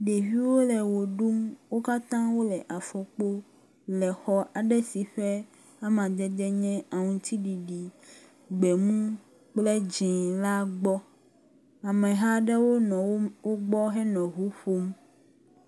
Ɖeviwo le wɔ ɖum. Wo katã wo le afɔkpo le xɔ aɖe si ƒe amadede nye aŋutiɖiɖi, gbemu kple dzi la gbɔ. Ameha aɖewo nɔ wo gbɔ henɔ ŋu ƒom.